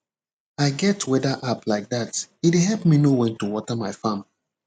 i get weather app like dat e dey help me know when to water my farm